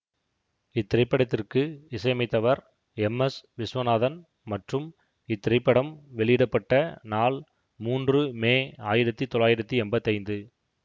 இத்திரைப்படத்திற்கு இசையமைத்தவர் M S Viswanathan மற்றும் இத்திரைப்படம் வெளியிட பட்ட நாள் மூன்று மே ஆயிரத்தி தொள்ளாயிரத்தி எம்பத்தி ஐந்து